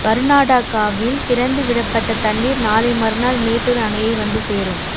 கர்நாடகாவில் திறந்து விடப்பட்ட தண்ணீர் நாளை மறுநாள் மேட்டூர் அணையை வந்து சேரும்